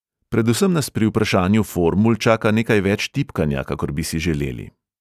Predvsem nas pri vnašanju formul čaka nekaj več tipkanja, kakor bi si želeli.